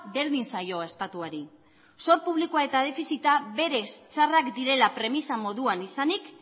berdin zaio estatuari zor publikoa eta defizita berez txarrak direla premisa moduan izanik